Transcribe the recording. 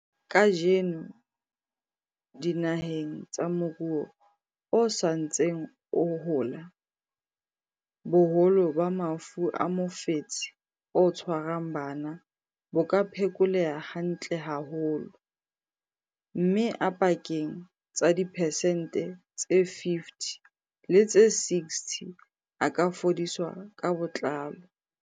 Kajeno, dinaheng tsa moruo o sa ntseng o hola, boholo ba mafu a mofetshe o tshwarang bana bo ka phekoleha hantle haholo, mme a pakeng tsa diphesente tse 50 le tse 60 a ka fodiswa ka botlalo.